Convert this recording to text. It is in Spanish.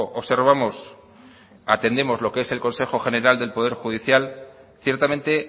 observamos o atendemos a lo que es el consejo general del poder judicial ciertamente